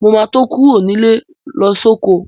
Mo ma tó kúrò nílé lọ sóko